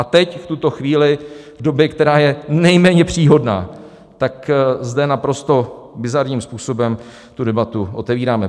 A teď v tuto chvíli, v době, která je nejméně příhodná, tak zde naprosto bizarním způsobem tu debatu otevíráme.